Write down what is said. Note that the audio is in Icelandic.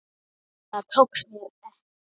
Það tókst mér ekki.